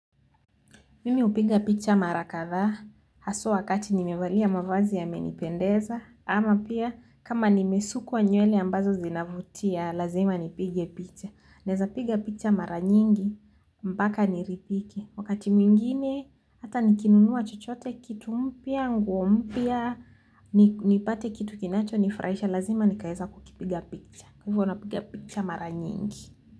Mimi upiga picha mara kathaa, haswa wakati nimevalia mavazi yamenipendeza, ama pia kama nimesukuwa nywele ambazo zinavutia, lazima nipige picha. Naeza piga picha mara nyingi mpaka niridhike wakati mwingine, hata nikinunua chochote kitu mpya, nguo mpya, nipate kitu kinachonifurahisha, lazima nikaeza kukipiga picha. Hivo napiga picha maranyingi.